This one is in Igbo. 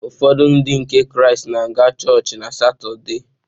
Ụfọdụ Ndị nke Kraịst na-aga chọọchị na Satọde.